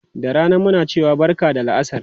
Da rana muna cewa barka da la'asar.